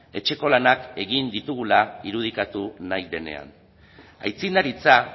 etxeko lanak egin ditugula irudikatu nahi denean aitzindaritza